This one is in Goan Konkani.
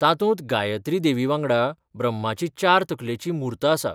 तातूंत गायत्री देवी वांगडा ब्रह्माची चार तकलेची मूर्त आसा.